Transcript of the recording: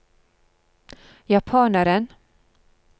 japaneren